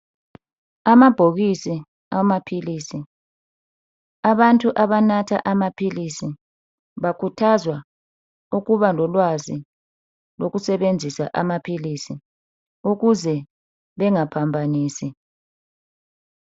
Amabhokisi amaphilisi, abantu abanatha amaphilisi bakhuthazwa ukuba lolwazi lokusebenzisa amaphilisi ukuze bengaphambanisi.